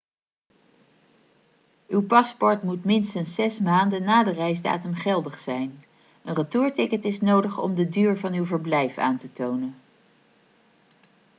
uw paspoort moet minstens 6 maanden na de reisdatum geldig zijn een retourticket is nodig om de duur van uw verblijf aan te tonen